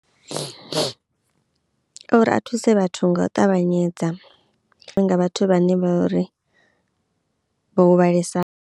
Uri a thuse vhathu nga u ṱavhanyedza nga vhathu vhane vha vhori vho huvhalesa.